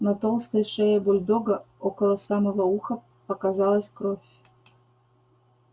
на толстой шее бульдога около самого уха показалась кровь